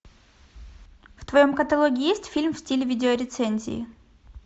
в твоем каталоге есть фильм в стиле видео рецензии